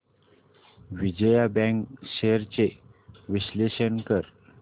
Vijaya bank shares चे विश्लेषण कर